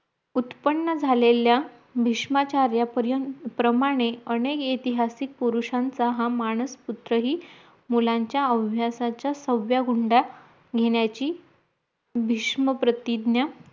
उत्पन्न झालेल्या भिस्मचाऱ्या पर्यंत प्रमाणे अनेक ऐतिहासिक पुरुष्यांच्या हा मानस उत्सवी मुलांचा अव्यासाचा सव्या गुंडा घेण्याची भीष्णप्रतिज्ञा